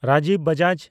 Rajiv Bajaj